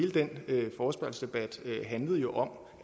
også og altså blandt andet om